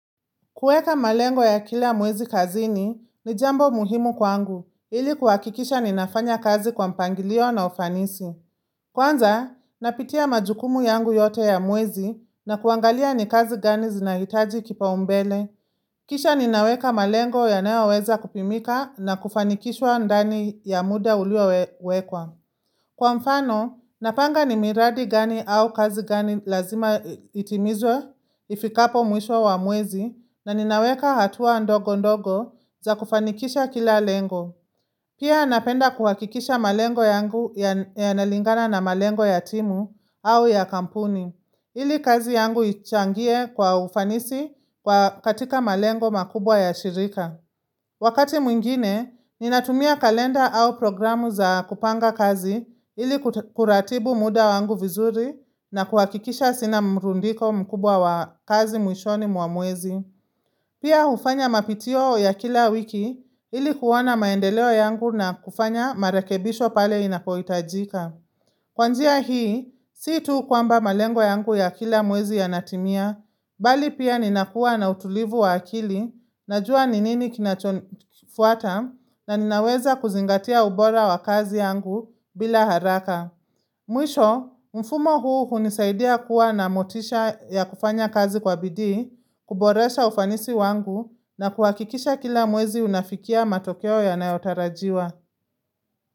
Kuweka malengo ya kila mwezi kazini ni jambo muhimu kwangu, ili kuhakikisha ninafanya kazi kwa mpangilio na ufanisi. Kwanza, napitia majukumu yangu yote ya mwezi na kuangalia ni kazi gani zinahitaji kipa umbele. Kisha ninaweka malengo yanayoweza kupimika na kufanikishwa ndani ya muda ulio wekwa. Kwa mfano, napanga ni miradi gani au kazi gani lazima itimizwe, ifikapo mwisho wa mwezi, na ninaweka hatua ndogo ndogo za kufanikisha kila lengo. Pia napenda kuhakikisha malengo yangu yanalingana na malengo ya timu au ya kampuni. Ili kazi yangu ichangie kwa ufanisi katika malengo makubwa ya shirika. Wakati mwingine, ninatumia kalenda au programu za kupanga kazi ili kuratibu muda wangu vizuri na kuwakikisha sina mrundiko mkubwa wa kazi mwishoni mwa mwezi. Pia ufanya mapitio ya kila wiki ili kuona maendeleo yangu na kufanya marekebisho pale inapoitajika. Kwa njia hii, si tu kwamba malengo yangu ya kila mwezi yanatimia, bali pia ninakuwa na utulivu wa akili, najua ni nini kinacho nifuata na ninaweza kuzingatia ubora wa kazi yangu bila haraka. Mwisho, mfumo huu hunisaidia kuwa na motisha ya kufanya kazi kwa bidii, kuboresha ufanisi wangu na kuhakikisha kila mwezi unafikia matokeo yanayotarajiwa.